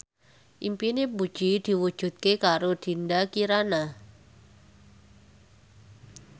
impine Puji diwujudke karo Dinda Kirana